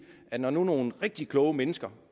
at når nu nogle rigtig kloge mennesker